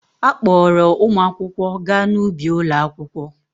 A kpọọrọ ụmụ akwụkwọ gaa n'ubi ụlọakwụkwọ.